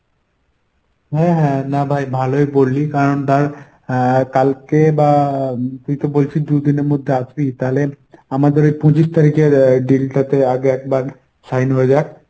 হ্যাঁ হ্যাঁ না ভাই ভালোই বললি কারণ ধর আহ কালকে বা তুই তো বলছিস দুইদিনের মধ্যে আসবি তাহলে আমাদের ওই পঁচিশ তারিখে আহ deal টাতে আগে একবার sign হয়ে যাক।